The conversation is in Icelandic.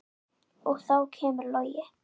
Og þá kemur Logi.